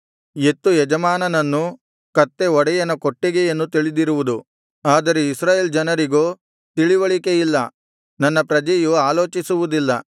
ಎತ್ತು ಯಜಮಾನನನ್ನು ಕತ್ತೆ ಒಡೆಯನ ಕೊಟ್ಟಿಗೆಯನ್ನು ತಿಳಿದಿರುವುದು ಆದರೆ ಇಸ್ರಾಯೇಲ್ ಜನರಿಗೋ ತಿಳಿವಳಿಕೆ ಇಲ್ಲ ನನ್ನ ಪ್ರಜೆಯು ಆಲೋಚಿಸುವುದಿಲ್ಲ